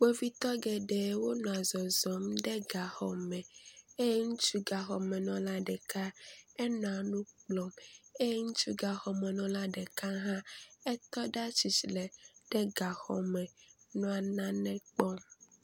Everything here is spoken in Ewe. Kpovitɔ geɖewo nɔa zɔzɔm ɖe gaxɔme eye ŋutsu gaxɔmenɔla ɖeka, enɔa nu kplɔm eye ŋutsu gaxɔmenɔla ɖeka hã, etɔ ɖe atsitre ɖe gaxɔme nɔ nane kpɔm.